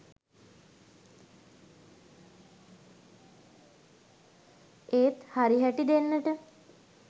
ඒත් හරි හැටි දෙන්නට